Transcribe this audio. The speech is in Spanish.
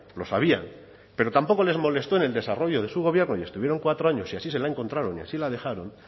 lo sabían pero tampoco les molestó en el desarrollo de su gobierno y estuvieron cuatro años y así se la encontraron y así la dejaron